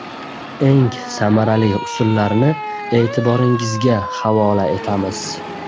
Eng samarali usullarni e’tiboringizga havola etamiz.